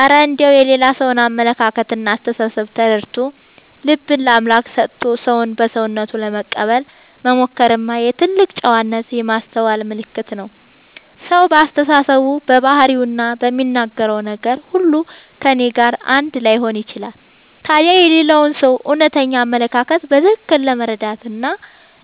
እረ እንደው የሌላ ሰውን አመለካከትና አስተሳሰብ ተረድቶ፣ ልብን ለአምላክ ሰጥቶ ሰውን በሰውነቱ ለመቀበል መሞከርማ የትልቅ ጨዋነትና የማስተዋል ምልክት ነው! ሰው በአስተሳሰቡ፣ በባህሪውና በሚናገረው ነገር ሁሉ ከእኔ ጋር አንድ ላይሆን ይችላል። ታዲያ የሌላውን ሰው እውነተኛ አመለካከት በትክክል ለመረዳትና